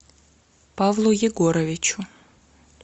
павлу егоровичу